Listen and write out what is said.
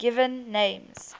given names